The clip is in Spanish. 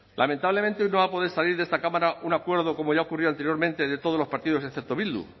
lamentablemente hoy no va a poder salir de esta cámara un acuerdo como ya ocurrió anteriormente de todos los partidos excepto bildu